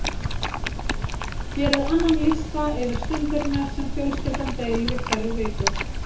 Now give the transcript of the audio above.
Gerið annan lista yfir stundirnar sem fjölskyldan deilir í hverri viku.